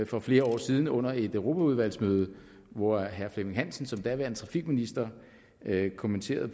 for flere år siden under et europaudvalgsmøde hvor herre flemming møller hansen som daværende trafikminister kommenterede